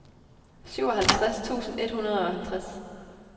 syvoghalvtreds tusind et hundrede og halvtreds